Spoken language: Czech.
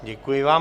Děkuji vám.